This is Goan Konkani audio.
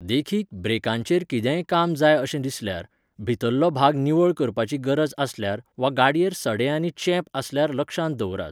देखीक, ब्रेकांचेंर कितेंय काम जाय अशें दिसल्यार, भितरलो भाग निवळ करपाची गरज आसल्यार वा गाडयेर सडे आनी चेंप आसल्यार लक्षांत दवरात.